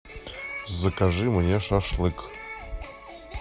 закажи мне шашлык